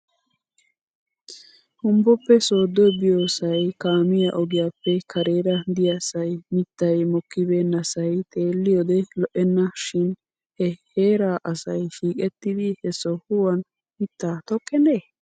Humbboppe sooddo biyoosay kaamiyaa ogiyaappe kareera de'iyaasay mittay mokkibeenasay xeelliyoode lo'ena shin he heeraa asay shiiqettidi he sohuwan mittaa tokkenee?